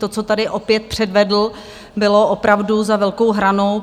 To, co tady opět předvedl, bylo opravdu za velkou hranou.